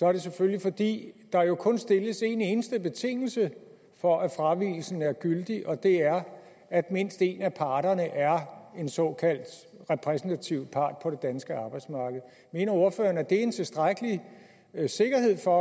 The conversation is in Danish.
er det selvfølgelig fordi der jo kun stilles en eneste betingelse for at fravigelsen er gyldig og det er at mindst en af parterne er en såkaldt repræsentativ part på det danske arbejdsmarked mener ordføreren at det er en tilstrækkelig sikkerhed for